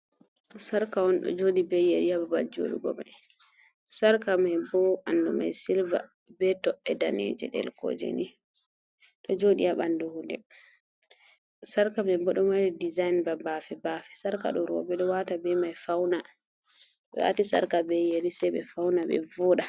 Sarka on ɗo joɗi be yeri ha ba bal joɗugo mai, sarka mai bo ɓandu mai silva be toɓɓe daneje ɗel koje, ɗo joɗi ha bandu gudel, sarka mai bo ɗo mari dezain ba bafe- bafe, sarka ɗo roɓe ɗo wata be mai fauna, to wati sarka be yeri sai ɓe fauna ɓe vuɗa.